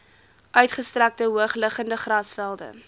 uitgestrekte hoogliggende grasvelde